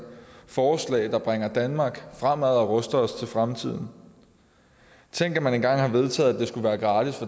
forslag der bringer danmark fremad og ruster os til fremtiden tænk at man engang har vedtaget at det skulle være gratis